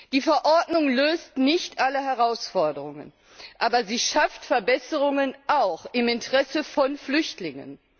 Die Verordnung löst nicht alle Herausforderungen, aber sie schafft Verbesserungen auch im Interesse von Flüchtlingen.